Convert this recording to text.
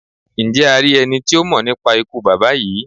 Njẹ a ri ẹni ti o mọ nipa ikú baba yii?